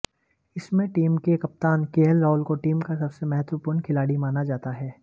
इसमें टीम के कप्तान केएल राहुल को टीम का सबसे महत्वपूर्ण खिलाड़ी माना जाता है